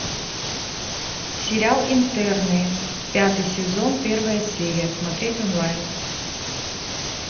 сериал интерны пятый сезон первая серия смотреть онлайн